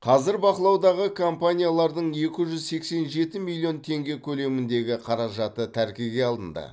қазір бақылаудағы компаниялардың екі жүз сексен жеті миллион теңге көлеміндегі қаражаты тәркіге алынды